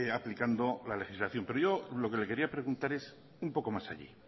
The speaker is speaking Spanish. aplicando la legislación pero yo lo que le quería preguntar es un poco más allí